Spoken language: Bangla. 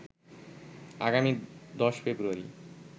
আগামী ১০ ফ্রেব্রয়ারি